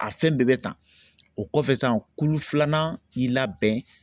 A fɛn bɛɛ bɛ ta o kɔfɛ san kulu filanan i labɛn